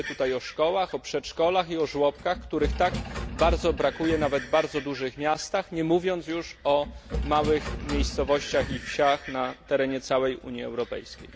Myślę tu o szkołach, o przedszkolach i o żłobkach, których tak bardzo brakuje nawet w bardzo dużych miastach, nie mówiąc już o małych miejscowościach i wsiach na terenie całej Unii Europejskiej.